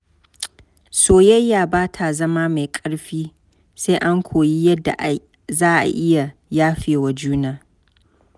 Soyayya ba ta zama mai ƙarfi sai an koyi yadda za a iya yafewa juna.